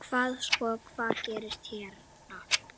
Hvað sko, hvað gerist hérna?